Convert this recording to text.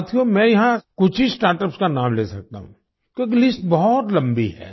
साथियो मैं यहाँ कुछ ही स्टार्टअप्स का नाम ले सकता हूँ क्योंकि लिस्ट बहुत लम्बी है